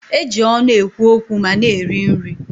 E ji ọnụ ekwu okwu ma na-eri nri